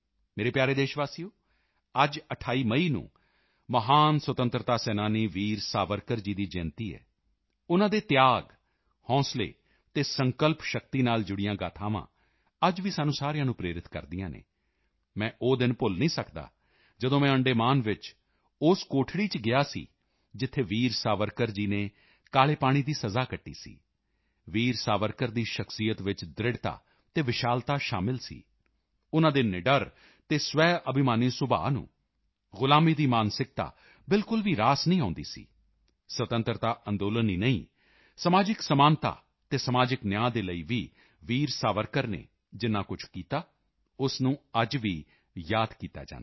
ਮੇਰੇ ਪਿਆਰੇ ਦੇਸ਼ਵਾਸੀਓ ਅੱਜ 28 ਮਈ ਨੂੰ ਮਹਾਨ ਸੁਤੰਤਰਤਾ ਸੈਨਾਨੀ ਵੀਰ ਸਾਵਰਕਰ ਜੀ ਦੀ ਜਯੰਤੀ ਹੈ ਉਨ੍ਹਾਂ ਦੇ ਤਿਆਗ ਹੌਸਲੇ ਅਤੇ ਸੰਕਲਪ ਸ਼ਕਤੀ ਨਾਲ ਜੁੜੀਆਂ ਗਾਥਾਵਾਂ ਅੱਜ ਵੀ ਸਾਨੂੰ ਸਾਰਿਆਂ ਨੂੰ ਪ੍ਰੇਰਿਤ ਕਰਦੀਆਂ ਹਨ ਮੈਂ ਉਹ ਦਿਨ ਭੁੱਲ ਨਹੀਂ ਸਕਦਾ ਜਦੋਂ ਮੈਂ ਅੰਡੇਮਾਨ ਵਿੱਚ ਉਸ ਕੋਠੜੀ ਚ ਗਿਆ ਸੀ ਜਿੱਥੇ ਵੀਰ ਸਾਵਰਕਰ ਜੀ ਨੇ ਕਾਲੇ ਪਾਣੀ ਦੀ ਸਜ਼ਾ ਕੱਟੀ ਸੀ ਵੀਰ ਸਾਵਰਕਰ ਦੀ ਸ਼ਖ਼ਸੀਅਤ ਵਿੱਚ ਦ੍ਰਿੜ੍ਹਤਾ ਅਤੇ ਵਿਸ਼ਾਲਤਾ ਸ਼ਾਮਲ ਸਨ ਉਨ੍ਹਾਂ ਦੇ ਨਿਡਰ ਅਤੇ ਸਵੈਅਭਿਮਾਨੀ ਸੁਭਾਅ ਨੂੰ ਗੁਲਾਮੀ ਦੀ ਮਾਨਸਿਕਤਾ ਬਿਲਕੁਲ ਵੀ ਰਾਸ ਨਹੀਂ ਆਉਂਦੀ ਸੀ ਸੁਤੰਤਰਤਾ ਅੰਦੋਲਨ ਹੀ ਨਹੀਂ ਸਮਾਜਿਕ ਸਮਾਨਤਾ ਅਤੇ ਸਮਾਜਿਕ ਨਿਆਂ ਦੇ ਲਈ ਵੀ ਵੀਰ ਸਾਵਰਕਰ ਨੇ ਜਿੰਨਾ ਕੁਝ ਕੀਤਾ ਉਸ ਨੂੰ ਅੱਜ ਵੀ ਯਾਦ ਕੀਤਾ ਜਾਂਦਾ ਹੈ